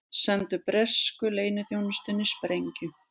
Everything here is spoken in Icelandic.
Sendu bresku leyniþjónustunni sprengju